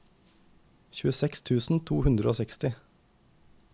tjueseks tusen to hundre og seksti